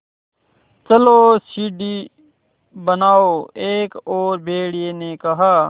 चलो सीढ़ी बनाओ एक और भेड़िए ने कहा